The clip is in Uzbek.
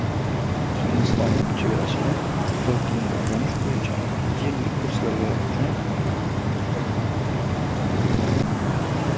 Hindistonlik chegarachilar Xitoy tilini o‘rganish bo‘yicha yillik kurslarga jo‘natiladi.